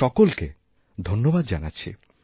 সকলকে ধন্যবাদ জানাছি